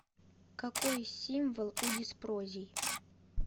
какой символ у диспрозий